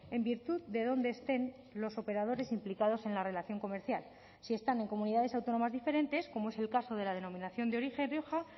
en virtud de dónde estén los operadores implicados en la relación comercial si están en comunidades autónomas diferentes como es el caso de la denominación de origen rioja